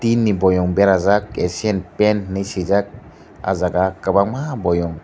tui ni boiem berajak acen pan swijak ah jaaga kwbangma boiem.